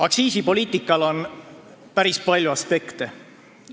Aktsiisipoliitikal on päris palju aspekte.